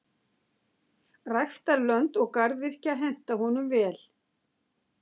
Ræktarlönd og garðyrkja henta honum vel.